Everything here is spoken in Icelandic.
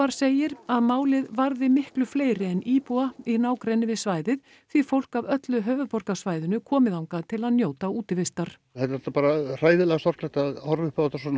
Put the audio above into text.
segir að málið varði miklu fleiri en íbúa í nágrenni við svæðið því fólk af öllu höfðuborgarsvæðinu komi þangað til að njóta útivistar það er bara hræðilega sorglegt að horfa upp á þetta svona